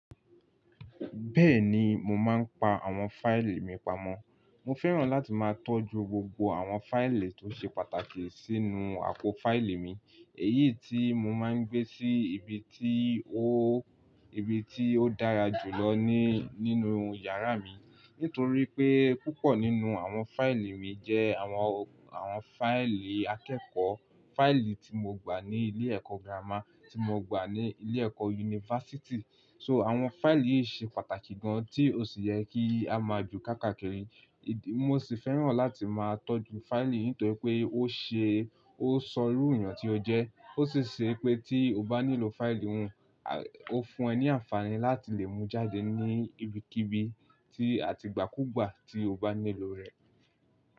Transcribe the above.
Bẹ́ẹ̀ni, mo máa ń pa àwọn fáìlì mi pamọ́. Mo fẹ́ràn láti máa tọ́jú gbogbo àwọn fáìlì tó ṣe pàtàkì sínú àpò fáìlì mi, èyí tí mo máa ń gbé sí ibi tí ó, ibi tí ó dára jù lọ ní nínú yàrá mi. Nítorí pé púpọ̀ nínú àwọn fáìlì mi jẹ́ àwọn, àwọn fáìlì akẹ́kọ̀ọ́, fáìlì tí mo gbà ní ilé ẹ̀kọ́ gírámà, tí mo gbà ní ilé ẹ̀kọ́ yunifásítì. So àwọn fáìlì yìí ṣe pàtàkì gan tí ó sì yẹ kí a máa jù kákàkiri. Mo sì fẹ́ràn láti máa tọ́jú fáìlì nítorí pé ó ṣe, ó ṣorú eeyàn tí ó jẹ́. To sì ṣe pé tí o bá nílò fáìlì hun, ó fún ẹ ní àǹfààní láti lè mú jáde ní ibikíbi tí a ti igbaàkúù gbà tí o bá nílò rẹ̀.